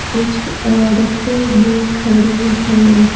कुछ औरतें भी खड़ी है।